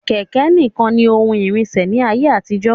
Kẹ̀kẹ̀ ní kan ní oun ìrìnsẹ̀ ní ayé àtijó.